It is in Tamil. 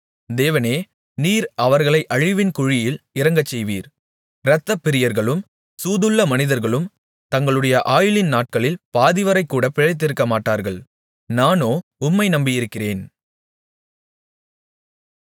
தேவனே நீர் அவர்களை அழிவின் குழியில் இறங்கச்செய்வீர் இரத்தப்பிரியர்களும் சூதுள்ள மனிதர்களும் தங்களுடைய ஆயுளின் நாட்களில் பாதிவரைகூட பிழைத்திருக்கமாட்டார்கள் நானோ உம்மை நம்பியிருக்கிறேன்